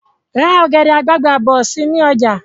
Ra ọ̀gẹ̀dẹ̀ àgbagbà bọ̀ si ni ọjà